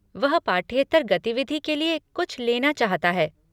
वह पाठ्येतर गतिविधि के लिए कुछ लेना चाहता है।